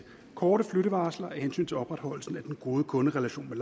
korte flyttevarsler af hensyn til opretholdelsen af den gode kunderelation med